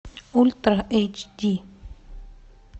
ультра эйч ди